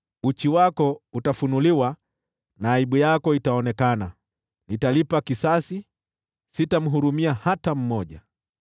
Uchi wako utafunuliwa na aibu yako itaonekana. Nitalipa kisasi; sitamhurumia hata mmoja.”